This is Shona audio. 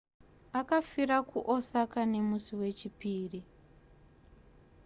akafira kuosaka nemusi wechipiri